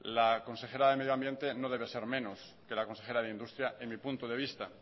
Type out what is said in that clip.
la consejera de medio ambiente no debe ser menos que la consejera de industria en mi punto de vista